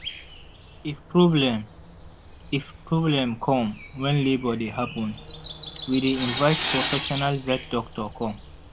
if problem if problem come when labour dey happen we dey invite profesional vet doctor come